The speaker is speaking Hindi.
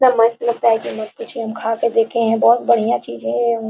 इतना मस्त लगता है की मत पूछिए हम खा के देखे हैं बहुत बढ़ियां चीज़ है ये अंगू --